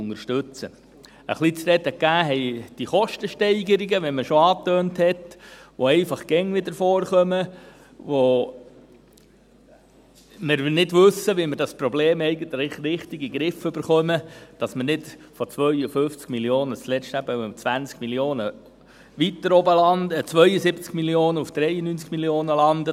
Etwas zu reden gegeben haben diese Kostensteigerungen, wie man schon angetönt hat, die einfach immer wieder vorkommen, bei denen wir nicht wissen, wie wir das Problem eigentlich richtig in den Griff bekommen, damit wir nicht zuletzt von 52 Mio. Franken eben um 20 Mio. Franken weiter oben laden, von 72 Mio. Franken auf 93 Mio. landen.